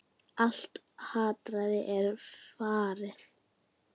Allt hatrið er farið?